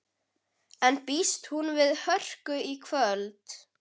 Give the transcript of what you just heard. En býst hún við hörku í kvöld?